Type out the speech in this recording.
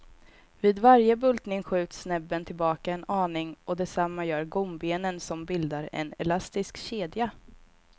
Vid varje bultning skjuts näbben tillbaka en aning och detsamma gör gombenen som bildar en elastisk kedja.